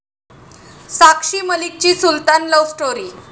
साक्षी मलिकची 'Sultan' love story